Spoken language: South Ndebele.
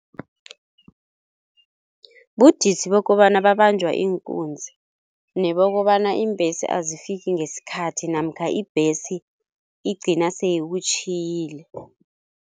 Budisi bokobana babanjwa iinkunzi nebokobana iimbhesi azifiki ngesikhathi namkha ibhesi igcina seyikutjhiyile.